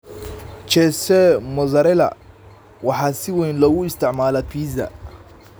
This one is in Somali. Cheese Mozzarella waxaa si weyn loogu isticmaalaa pizza.